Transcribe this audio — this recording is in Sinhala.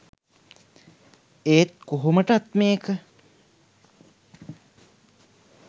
එත් කොහොමටත් මේක